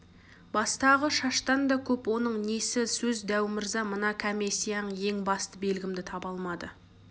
бастағы шаштан да көп оның несі сөз дәу мырза мына кәмесияң ең басты белгімді таба алмады